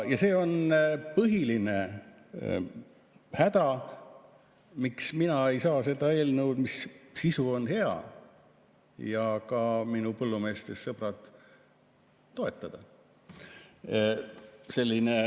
Ja see on põhiline häda, miks mina ei saa seda eelnõu, mille sisu on hea, ja ka minu põllumeestest sõbrad, toetada.